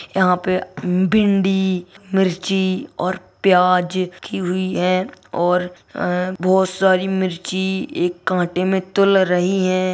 यहां पे भिंडी मिर्ची और प्याज हुई है और बहुत सारी मिर्च एक कांटे में तूल रही है।